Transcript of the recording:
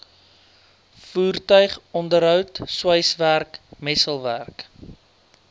voertuigonderhoud sweiswerk messelwerk